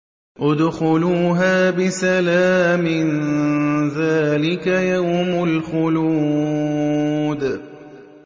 ادْخُلُوهَا بِسَلَامٍ ۖ ذَٰلِكَ يَوْمُ الْخُلُودِ